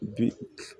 Bi